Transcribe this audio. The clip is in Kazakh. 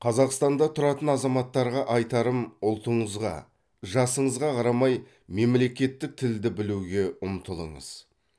қазақстанда тұратын азаматтарға айтарым ұлтыңызға жасыңызға қарамай мемлекеттік тілді білуге ұмтылыңыз